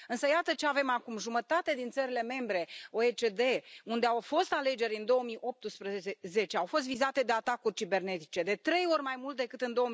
Însă iată ce avem acum jumătate din țările membre OECD unde au fost alegeri în 2018 au fost vizate de atacuri cibernetice, de trei ori mai mult decât în